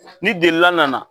Ni delila nana